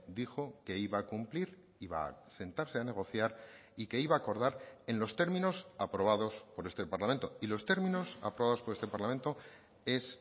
dijo que iba a cumplir y va a sentarse a negociar y que iba a acordar en los términos aprobados por este parlamento y los términos aprobados por este parlamento es